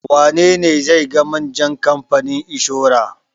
Wane ne zai ga manjan kamfanin inshora?